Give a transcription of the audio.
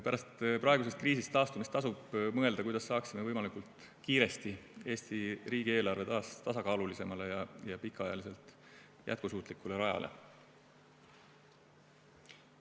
Pärast praegusest kriisist taastumist tasub mõelda, kuidas saaksime võimalikult kiiresti Eesti riigieelarve taas tasakaalulisemale ja pikaajaliselt jätkusuutlikule rajale.